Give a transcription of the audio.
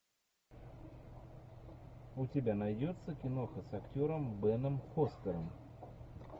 у тебя найдется киноха с актером беном фостером